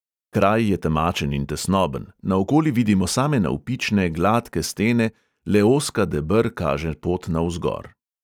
Kraj je temačen in tesnoben, naokoli vidimo same navpične, gladke stene, le ozka deber kaže pot navzgor.